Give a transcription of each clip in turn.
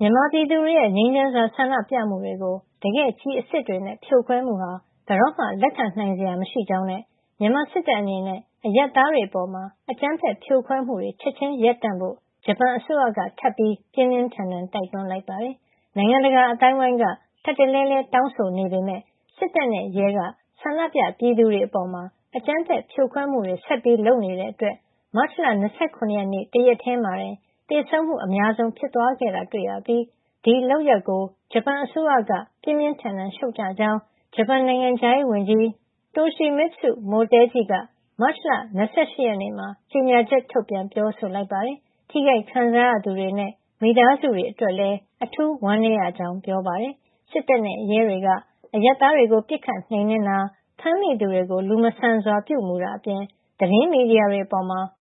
မြန်မာပြည်သူတွေရဲ့ ငြိမ်းချမ်းစွာဆန္ဒပြမှုတွေကို တကယ့်ကျည်အစစ်တွေနဲ့ ဖြိုခွဲမှုဟာ ဘယ်လိုမှ လက်ခံနိုင်စရာမရှိကြောင်းနဲ့ မြန်မာစစ်တပ်အနေနဲ့ အရပ်သားတွေ အပေါ် အကြမ်းဖက်ဖြိုခွဲမှုတွေ ချက်ချင်းရပ်ဖို့ ဂျပန်အစိုးရက ထပ်ပြီး ပြင်းပြင်းထန်ထန် တိုက်တွန်းလိုက်ပါတယ်။ နိုင်ငံတကာအသိုင်းဝိုင်းက ထပ်တလဲလဲ တောင်းဆိုနေပေမယ့် စစ်တပ်နဲ့ ရဲက ဆန္ဒပြပြည်သူတွေအပေါ် အကြမ်းဖက်ဖြိုခွဲမှုတွေ ဆက်လုပ်နေတဲ့ အတွက် မတ်လ ၂၇ ရက်နေ့ တရက်ထည်းမှာတင် သေဆုံးမှု အများဆုံးဖြစ်သွားခဲ့တာတွေ့ရပြီး ဒီလုပ်ရပ်ကို ဂျပန်အစိုးရက ပြင်းပြင်းထန်ထန် ရှုတ်ချကြောင်း ဂျပန်နိုင်ငံခြားရေးဝန်ကြီး Toshimitsu Motegi က မတ်လ ၂၈ ရက်နေ့မှာ ကြေညာချက် ထုတ်ပြန်ပြောဆိုလိုက်ပါတယ်။ ထိခိုက် ခံစားရသူတွေနဲ့ မိသားစုတွေ အတွက် လည်း အထူးဝမ်းနည်းရကြောင်း ပြောပါတယ်။ စစ်တပ်နဲ့ ရဲတွေက အရပ်သားတွေကို ပစ်ခတ်နှိမ်နင်းတာ၊ ဖမ်းမိသူတွေကို လူမဆန်စွာပြုမှုတာ အပြင် သတင်းမီဒီယာတွေအပေါ်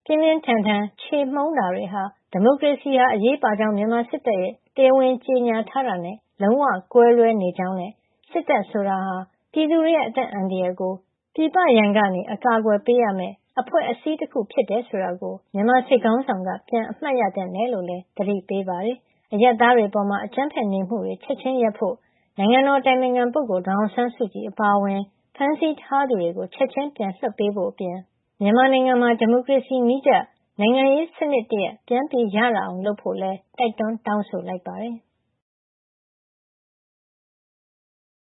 ပြင်းပြင်းထန်ထန်ခြေမှုန်းတာတွေဟာ ဒီမိုရေစီဟာ အရေးပါကြောင်း မြန်မာစစ်တပ်ရဲ့ တရားဝင်ကြေညာထားတာနဲ့ လုံးဝ ကွဲလွဲနေကြောင်းနဲ့ စစ်တပ်ဆိုတာဟာ ပြည်သူတွေရဲ့ အသက်အန္တရာယ်ကို ပြည်ပရန်ကနေ အကာကွယ်ပေးရမယ့် အဖွဲ့အစည်းတခုဖြစ်တယ်ဆိုတာကို မြန်မာစစ်ခေါင်းက ပြန်အမှတ်ရသင့်တယ်လို့လည်း သတိပေးပါတယ်။ အရပ်သားတွေအပေါ် အကြမ်းဖက်နေမှုတွေ ချက်ချင်းရပ်ဖို့နဲ့ နိုင်ငံတော်အတိုင်ပင်ခံ ဒေါ်အောင်ဆန်းစုကြည် အပါအဝင် ဖမ်းဆီးထားသူတွေကို ချက်ချင်းပြန်လွှတ်ပေးဖို့အပြင် မြန်မာနိုင်ငံမှာ ဒီမိုကရေစီ နည်းကျ နိုင်ငံရေး စံနစ်တရပ် ပြန်ရလာအောင် လုပ်ဖို့လည်း တိုက်တွန်းတောင်းဆိုလိုက်ပါတယ်။